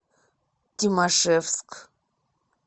тимашевск